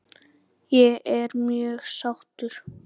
Ég er mjög sáttur.